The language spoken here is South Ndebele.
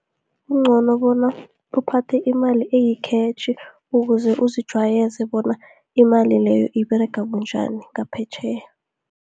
Kuncono bona uphathe imali eyikhetjhi, ukuze uzijwayeze bona imali leyo, iberega bunjani ngaphetjheya.